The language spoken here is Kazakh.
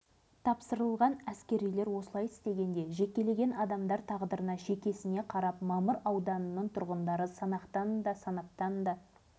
бұл не деген сұмдық жарылмай қалған атом-сутегі бомбалары саңырауқұлақтай қайдан қаптап кеткен ел тағдыры қолдарына сеніп